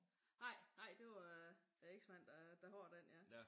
Nej nej det var eksmanden der har den ja